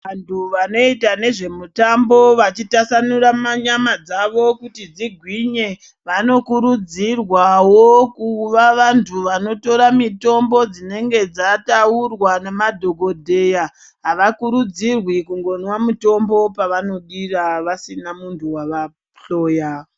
Vantu vanoita nezvemutambo vachitasanura manyama dzawo kuti dzigwinye vanokurudzirwawo kuva vantu vanotora mutombo dzinenge dzataurwa nadhokodheya avakurudzirwi kungotora mutombo vasina muntu wavahloya.